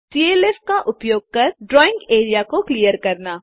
CLF का उपयोग कर ड्राइंग एरिया को क्लियर करना